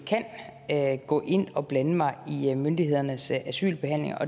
kan gå ind og blande mig i myndighedernes asylbehandling